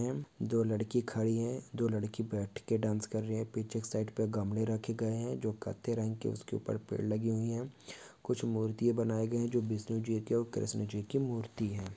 दो लड़की खड़ी है दो लड़की बैठ के डास कर रही है एक साइड पे गमले रखे गए है जों कथई रंग की उसके ऊपर पेड़ लगी हुई है कुछ मूर्ति बनाए गए है जो विष्णु जी की और कृष्णा जी की मूर्ति है।